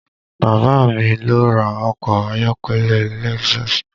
Bàbá a mi ló ra ọkọ̀ ayọ́kẹ́lẹ́ Lexus